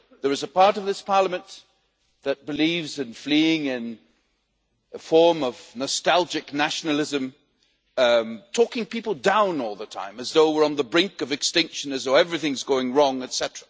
There is a part of this Parliament that believes in fleeing in a form of nostalgic nationalism, talking people down all the time as though we are on the brink of extinction as though everything is going wrong, etc.